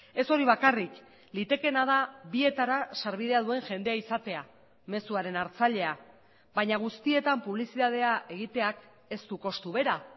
ez hori bakarrik litekeena da bietara sarbidea duen jendea izatea mezuaren hartzailea baina guztietan publizitatea egiteak ez du kostu bera